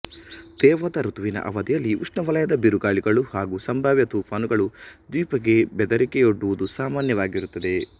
ತೇವದ ಋತುವಿನ ಅವಧಿಯಲ್ಲಿ ಉಷ್ಣವಲಯದ ಬಿರುಗಾಳಿಗಳು ಹಾಗೂ ಸಂಭಾವ್ಯ ತೂಫಾನುಗಳು ದ್ವೀಪಕ್ಕೆ ಬೆದರಿಕೆಯೊಡ್ಡುವುದು ಸಾಮಾನ್ಯವಾಗಿರುತ್ತದೆ